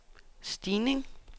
stigning